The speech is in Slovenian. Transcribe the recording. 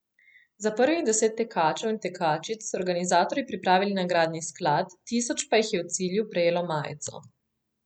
Za prvih deset tekačev in tekačic so organizatorji pripravili nagradni sklad, tisoč pa jih je v cilju prejelo majico.